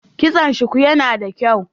Kitson shuku yana da kyau.